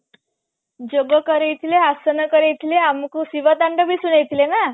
ଯୋଗ କରେଇ ଥିଲେ ଆସନ କରେଇ ଥିଲେ ଆମକୁ ଶିବ ତାଣ୍ଡବ ବି ଶୁଣେଇ ଥିଲେ ନା